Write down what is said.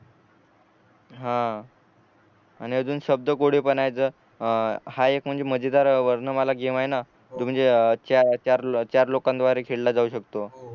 हा आणि अजून शब्द कोळी पण आहे हा एक मजेदार वर्णमाला गेम आहेत न तो म्हणजे चार चार लोकांद्वारे खेळला जाऊ शकतो